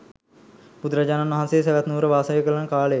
බුදුරජාණන් වහන්සේ සැවැත් නුවර වාසය කරන කාලයේ